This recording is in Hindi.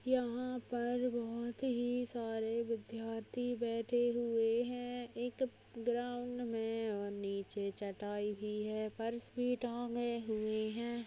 यहाँ पर बहुत हि सारे विध्यार्थी बैठे हुए है एक ग्राउंड मे और नीचे चटाई भी है फर्स भी टांगे हुए है।